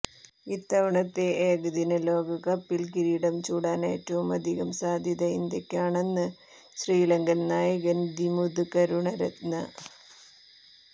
ഇത്തവണത്തെ ഏകദിന ലോകകപ്പിൽ കിരീടം ചൂടാൻ ഏറ്റവുമധികം സാധ്യത ഇന്ത്യയ്ക്കാണെന്ന് ശ്രീലങ്കൻ നായകൻ ദിമുത് കരുണരത്നെ